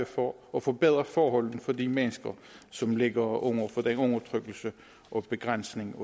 for at forbedre forholdene for de mennesker som ligger under for den undertrykkelse og begrænsning